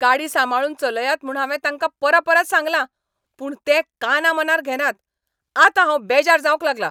गाडी सांबाळून चलयात म्हूण हांवें तांकां परपरत सांगलां, पूण ते कानामनार घेनात, आतां हांव बेजार जावंक लागलां.